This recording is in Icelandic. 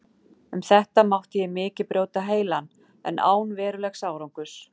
Um þetta mátti ég mikið brjóta heilann, en án verulegs árangurs.